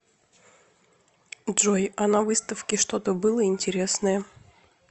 джой а на выставке что то было интересное